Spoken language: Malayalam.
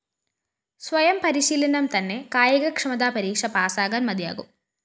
സ്വയം പരിശീലനം തന്നെ കായിക ക്ഷമതാ പരീക്ഷ പാസ്സാകാന്‍ മതിയാകും